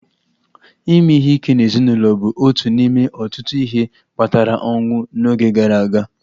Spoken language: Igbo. Ime ihe ike n'ezinụlọ bụ otu n'ime ọtụtụ ihe kpatara ọnwụ n'oge gara aga